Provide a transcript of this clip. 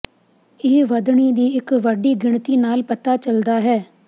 ਇਹ ਵਧਣੀ ਦੀ ਇੱਕ ਵੱਡੀ ਗਿਣਤੀ ਨਾਲ ਪਤਾ ਚੱਲਦਾ ਹੈ